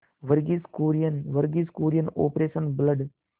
Verghese Kurien Verghese Kurien operation blood